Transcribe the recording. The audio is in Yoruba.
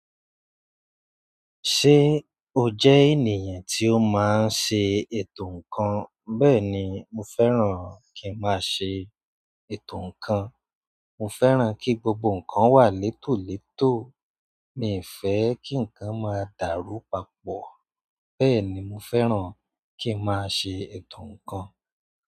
Ṣé o jẹ́ ènìyàn tí ó máa ń ṣe ètò ǹkan? Bẹ́ẹ̀ ni, mo fẹ́ràn kí n máa ṣe ètò ǹkan. Mo fẹ́ràn kí gbogbo ǹkan wà létòletò, mi fẹ́ kí ǹkan máa dáru papọ̀. Bẹ́ẹ̀ ni, mo fẹ́ràn kí n máa ṣe ètò ǹkan.